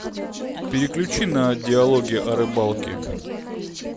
переключи на диалоги о рыбалке